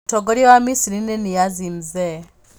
Mũtongoria wa Misiri nĩ Niazi Mzee.